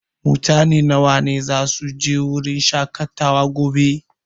Mutane nawa ne zasu je wurin shaƙatawa gobe?